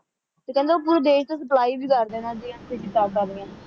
ਤੇ ਕਹਿੰਦੇ ਉਹ ਪੂਰੇ ਦੇਸ਼ ਤੇ supply ਵੀ ਕਰਦੇ ਨੇ ਹਾਂ ਜੀ ਕਿਤਾਬਾਂ ਦੀਆਂ